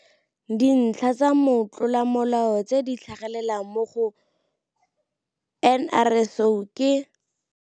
Dintlha tsa motlolamolao tse di tlhagelelang mo go NRSO ke.